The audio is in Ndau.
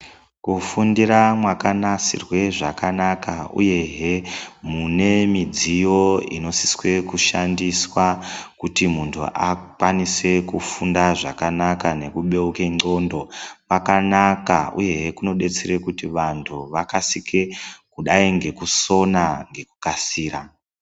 Kufundira mwakanasirwe zvakanaka uyehe mune midziyo inosiswe kushandiswa kuti muntu akwanise kufunda zvakanaka nekubeuke ndxondo kwakanaka uyehe kunodetsere kuti vantu vakasike kudai ngekusona ngekukasira.